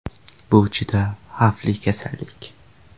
Bu juda xavfli kasallik.